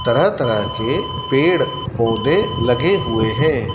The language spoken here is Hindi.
तरह तरह के पेड़ पौधे लगे हुए है।